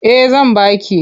Eh zan ba ki.